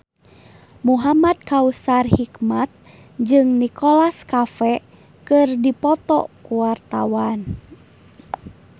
Muhamad Kautsar Hikmat jeung Nicholas Cafe keur dipoto ku wartawan